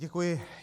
Děkuji.